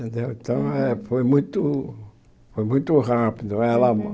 Entendeu então, eh foi muito foi muito rápido. Ela